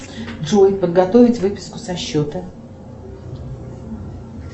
джой подготовить выписку со счета